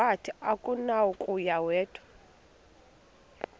wathi akunakuya wedw